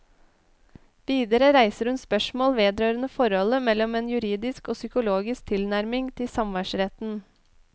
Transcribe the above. Videre reiser hun spørsmål vedrørende forholdet mellom en juridisk og psykologisk tilnærming til samværsretten.